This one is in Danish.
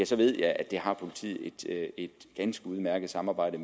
så ved jeg at det er et ganske udmærket samarbejde